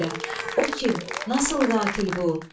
O kim, nasıl qatil?